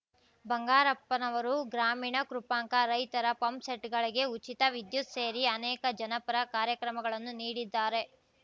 ಬಂಗಾರಪ್ಪನವರು ಗ್ರಾಮೀಣ ಕೃಪಾಂಕ ರೈತರ ಪಂಪ್‌ಸೆಟ್‌ಗಳಿಗೆ ಉಚಿತ ವಿದ್ಯುತ್‌ ಸೇರಿ ಅನೇಕ ಜನಪರ ಕಾರ್ಯಕ್ರಮಗಳನ್ನು ನೀಡಿದ್ದಾರೆ